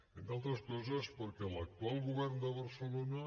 entre altres coses perquè l’actual govern de barcelona